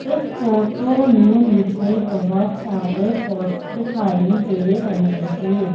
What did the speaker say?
इस फोटो में मुझे बहोत सारे पॉट्स दिखाई दे रहे हैं।